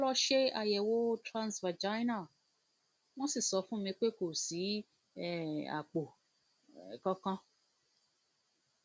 mo lọ ṣe àyẹwò transvaginal wọn sì sọ fún mi pé kò sí um àpò um kankan